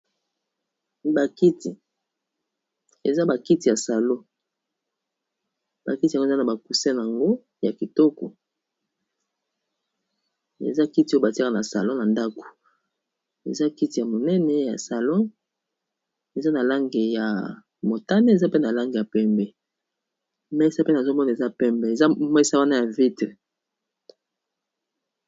Bakiti, bakiti yango eza na ba cusin nango ya kitoko, eza kiti ya monene ya salon eza na lange ya motane, eza pe na lange ya pembe, mesa pe nazomona eza pembe eza mesa ya ya ba vitre.